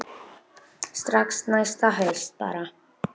Strax næsta haust bara.